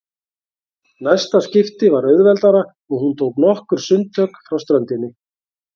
Næsta skipti var auðveldara og hún tók nokkur sundtök frá ströndinni.